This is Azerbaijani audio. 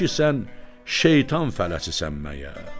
Kişi, sən şeytan fələçisən məyər?